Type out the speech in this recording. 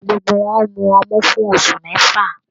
Gbogbo wọn mú ọmu fún oṣù mẹfa.